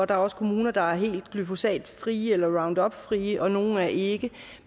der er også kommuner der er helt glyphosatfrie eller roundupfrie og nogle er ikke